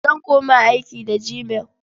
Zan koma aiki da gmail.